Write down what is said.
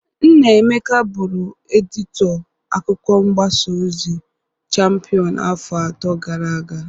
Nna Emeka bụrụ edịtọ akwụkwọ mgbasa ozi Champịọn afọ atọ gara aga.